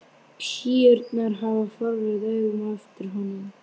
Píurnar horfa forvitnum augum á eftir honum.